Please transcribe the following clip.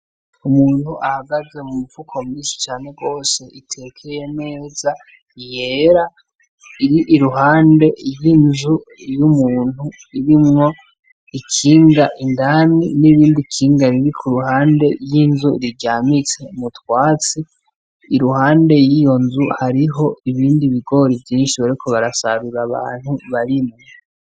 Umuntu ahagaze mu mupfuko mw'ishi cane rwose iteka yemeza iyera iri i ruhande y'inzu y' umuntu irimwo ikinga indani n'ibindi ikinga bibi ku ruhande y'inzu riryamitse mutwatsi i ruhande y'iyo nzu hariho ho ibindi bigora ivyi nishoboreko barasarura abantu barimwe.